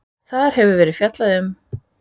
Þar hefði verið fjallað um: